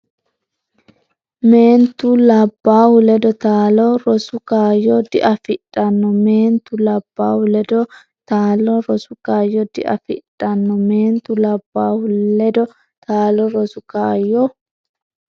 Meentu labbaahu ledo taalo rosu kaayyo diafidhanno Meentu labbaahu ledo taalo rosu kaayyo diafidhanno Meentu labbaahu ledo taalo rosu kaayyo.